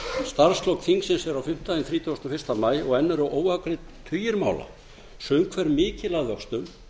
starfslok þingsins eru á fimmtudaginn þrítugasta og fyrsta maí og enn eru óafgreiddir tugir mála sum hver mikil að vöxtum